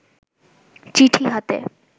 চিঠি হাতে